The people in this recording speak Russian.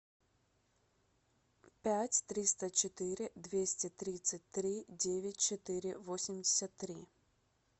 пять триста четыре двести тридцать три девять четыре восемьдесят три